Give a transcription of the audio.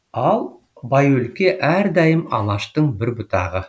ал байөлке әрдайым алаштың бір бұтағы